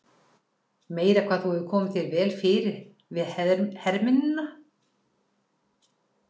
Meira hvað þú hefur komið þér vel við hermennina!